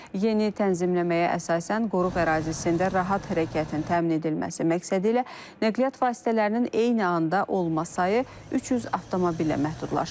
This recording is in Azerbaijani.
Yeni tənzimləməyə əsasən, qoruq ərazisində rahat hərəkətin təmin edilməsi məqsədilə nəqliyyat vasitələrinin eyni anda olma sayı 300 avtomobillə məhdudlaşdırılıb.